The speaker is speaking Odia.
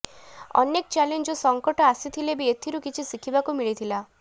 ଅନେକ ଚ୍ୟାଲେଞ୍ଜ ଓ ସଙ୍କଟ ଆସିଥିଲେ ବି ଏଥିରୁ କିଛି ଶିଖିବାକୁ ମିଳିଥିଲା